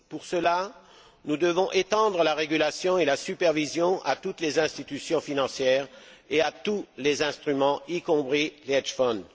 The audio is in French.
Pour cela, nous devons étendre la régulation et la supervision à toutes les institutions financières et à tous les instruments, y compris les hedge funds